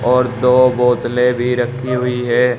और दो बोतले भी रखी हुई है।